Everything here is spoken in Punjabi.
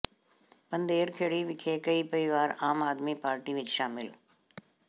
ਪੰਧੇਰ ਖੇੜੀ ਵਿਖੇ ਕਈ ਪਰਿਵਾਰ ਆਮ ਆਦਮੀ ਪਾਰਟੀ ਵਿਚ ਸ਼ਾਮਿਲ